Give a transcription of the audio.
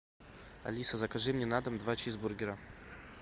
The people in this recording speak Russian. алиса закажи мне на дом два чизбургера